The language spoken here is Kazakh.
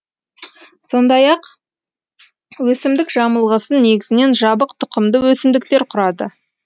сондай ақ өсімдік жамылғысын негізінен жабық тұқымды өсімдіктер құрады